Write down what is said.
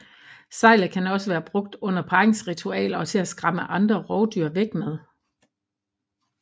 Sejlet kan også være brugt under parringsritualer og til at skræmme andre rovdyr væk med